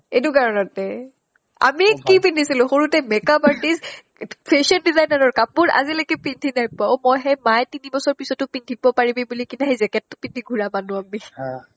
এইটো কাৰণতে আমি কি পিন্ধিছিলো সৰুতে makeup artist অ fashion designer ৰ কাপোৰ আজিলৈকে পিন্ধি নাই পোৱা অ মই সেই মাই তিনিবছৰ পিছিতো পিন্ধিতো jacket টো পিন্ধি ঘুৰা মানুহ আমি